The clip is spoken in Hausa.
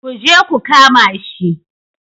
Ku je ku kama shi!